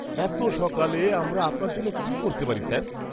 এতো সকালে, আমরা আপনার জন্য কী করতে পারি, স্যার? (পুলিশ)